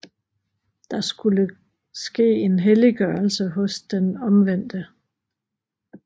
Der skulle ske en helliggørelse hos den omvendte